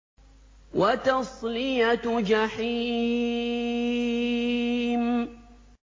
وَتَصْلِيَةُ جَحِيمٍ